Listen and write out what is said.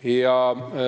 eurot.